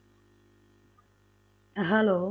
Hello